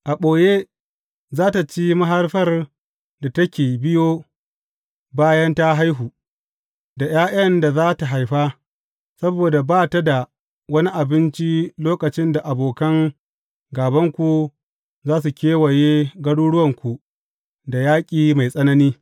A ɓoye za tă ci mahaifar da take biyo bayan ta haihu, da ’ya’yan da za tă haifa, saboda ba ta da wani abinci lokacin da abokan gābanku za su kewaye garuruwanku da yaƙi mai tsanani.